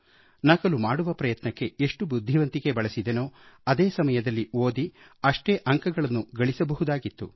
ನಕಲು ಮಾಡುವ ಪ್ರಯತ್ನಕ್ಕೆ ಎಷ್ಟು ಬುದ್ಧಿವಂತಿಕೆ ಬಳಸಿದೆನೋ ಅದೇ ಸಮಯದಲ್ಲಿ ಓದಿ ಅಷ್ಟೇ ಅಂಕಗಳನ್ನು ಗಳಿಸಬಹುದಾಗಿತ್ತು